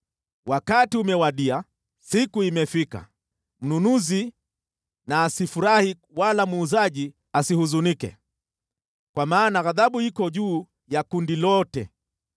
Wakati umewadia, siku imefika. Mnunuzi na asifurahi wala muuzaji asihuzunike, kwa maana ghadhabu iko juu ya kundi lote.